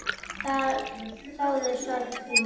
Þáði sorg þína.